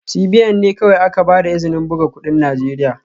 CBN ne kawai aka ba da izinin buga kudin Najeriya